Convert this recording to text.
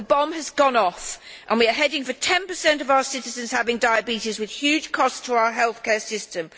The bomb has gone off and we are heading for 10 of our citizens having diabetes, with huge costs to our healthcare system.